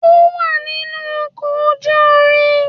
Ó wà nínú ọkọ̀ ojú irin.